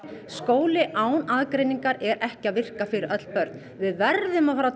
skóli án aðgreiningar er ekki að virka fyrir öll börn við verðum að fara að